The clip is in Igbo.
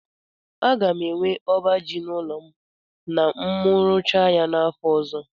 A ga m enwe ọba ji n'ụlọ m na mu rụchaa ya n'afọ ọzọ.